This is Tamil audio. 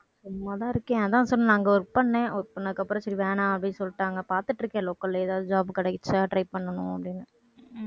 சும்மாதான் இருக்கேன் அதான் சொன்னேன்ல அங்கே work பண்ணேன் work பண்ணதுக்கப்புறம் சரி வேணாம் அப்படின்னு சொல்லிட்டாங்க. பாத்துட்டு இருக்கேன் local ல ஏதாவது job கிடைச்சா try பண்ணனும் அப்படின்னு.